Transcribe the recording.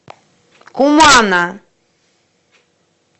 кумана